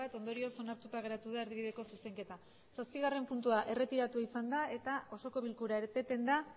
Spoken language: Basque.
ondorioz onartuta geratu da erdibideko zuzenketa zazpigarren puntua erretiratua izan da eta osoko bilkura eteten da